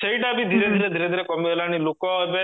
ସେଇଟା ବି ଧୀରେ ଧୀରେ କମିଗଲାଣି ଲୋକ ଏବେ